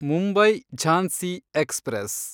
Mumbai Jhansi express